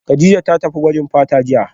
Kadijat ta tafi gwajin fata jiya